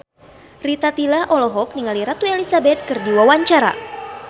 Rita Tila olohok ningali Ratu Elizabeth keur diwawancara